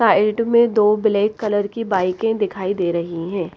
Side में दो black colour की बाइके दिखाई दे रही है।